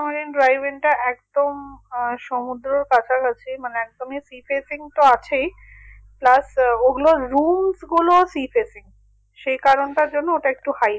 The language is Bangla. ধরেন driven একদম আহ সমুদ্রর কাছাকাছি মানে তুমি sea fetching তো আছেই plus ওগুলো rooms গুলো sea fetching সে কারণটার জন্য ওগুলো একটু high